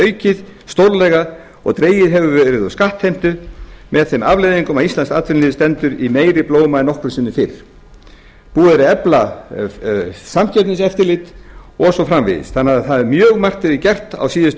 aukið stórlega og dregið hefur verið úr skattheimtu með þeim afleiðingum að íslenskt atvinnulíf stendur í meiri blóma en nokkru sinni fyrr búið er að efla samkeppniseftirlit og svo framvegis þannig að það hefur mjög margt verið gert á síðustu